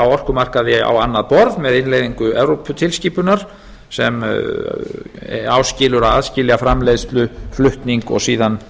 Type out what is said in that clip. á orkumarkaði á annað borð með innleiðingu evróputilskipunar sem áskilur að aðskilja framleiðsluflutning og síðan